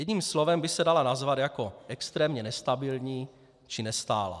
Jedním slovem by se dala nazvat jako extrémně nestabilní či nestálá.